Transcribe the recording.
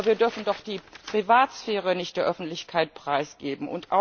Aber wir dürfen doch die Privatsphäre nicht der Öffentlichkeit preisgeben.